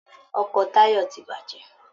Ọkọ Táyọ̀ ti bàjẹ́.